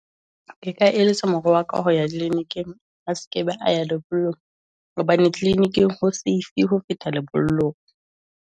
Ke ka eletsa mora wa ka ho ya clinic-ing, a sekebe a ya lebollong hobane clinic-ing ho Safe ho feta lebollong.